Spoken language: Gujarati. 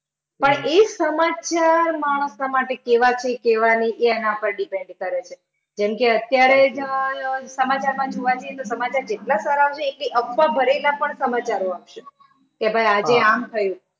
પણ એ સમાચાર માણસના માટે કેવા છે કેવા નહિ એ એના પર depend કરે છે. જેમ કે અત્યારે જ સમાચારમા જોવા જઇયે તો સમાચાર એટલા બધા છે કે અફવા ભરેલા પણ સમાચારો આવશે, કે ભાઈ આજે આમ થયું.